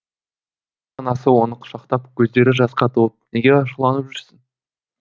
анасы оны құшақтап көздері жасқа толып неге ашуланып жүрсің